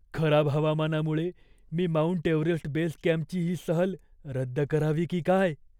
खराब हवामानामुळे मी माउंट एव्हरेस्ट बेस कॅम्पची ही सहल रद्द करावी की काय?